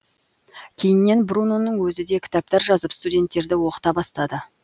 кейіннен бруноның өзі де кітаптар жазып студенттерді оқыта бастады